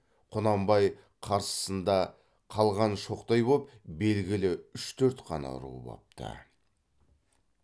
құнанбай қарсысында қалған шоқтай топ белгілі үш төрт қана ру бопты